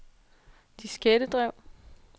diskettedrev